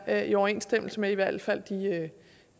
er i overensstemmelse med i hvert fald